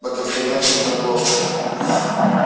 на конференции торговцев